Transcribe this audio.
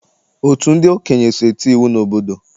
Otu ndị okenye so eti iwu n'obodo.